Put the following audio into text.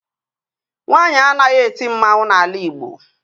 Nwaanyi anaghị eti mmanwu n'ala Ịgbo